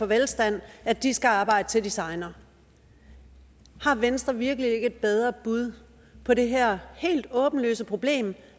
velstand at de skal arbejde til de segner har venstre virkelig ikke et bedre bud på det her helt åbenlyse problem